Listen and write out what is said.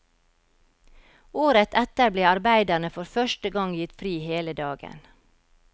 Året etter ble arbeiderne for første gang gitt fri hele dagen.